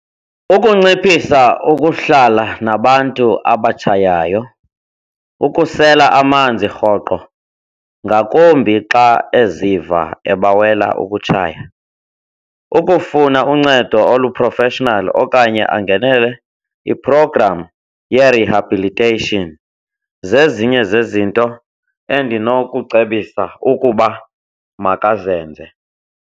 Ukunciphisa ukuhlala nabantu abatshayayo, ukusela amanzi rhoqo ngakumbi xa eziva ebawela ukutshaya, ukufuna uncedo olu-professional okanye angenele iprogramu ye-rehabilitation, zezinye zezinto endinokucebisa ukuba makazenze.